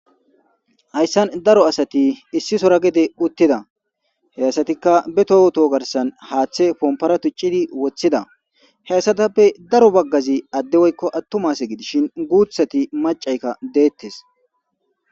Hayssan daro asati issisora gede uttida he asatikka be towoto garsan haaththe pompora tuccidi woththida heyssatappe daro baggazi adde woykko attumas gidishin guuthati macaykka deettes